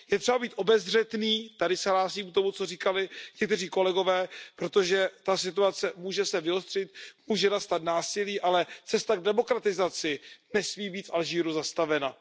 Je třeba být obezřetný, tady se hlásím k tomu, co říkali někteří kolegové, protože ta situace může se vyostřit, může nastat násilí, ale cesta k demokratizaci nesmí být v Alžírsku zastavena.